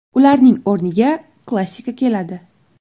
Ularning o‘rniga klassika keladi.